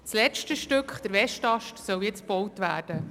Das letzte Stück, der Westast, soll jetzt gebaut werden.